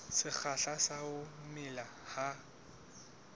sekgahla sa ho mela ha